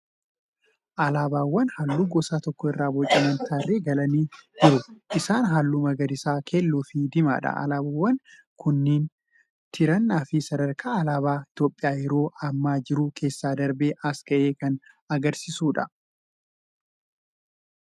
Alaabaawwan halluu gosa tokko irraa bocaman tarree galanii jiru. Isaanis halluu magariisa, keelloo fi diimaadha. Alaabaawwan kun tirannaa fi sadarkaa alaabaan Itiyoophiyaa yeroo ammaa jiru keessa darbee as ga'ee kan agarsiisaniidha.